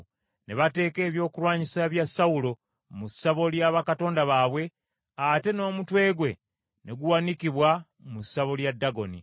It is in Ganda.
Ne bateeka ebyokulwanyisa bya Sawulo mu ssabo lya bakatonda baabwe, ate n’omutwe gwe ne guwanikibwa mu ssabo lya Dagoni.